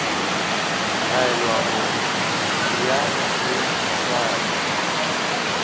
laelwa gore eya o sware